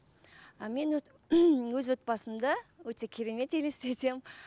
ы мен өз отбасымды өте керемет елестетемін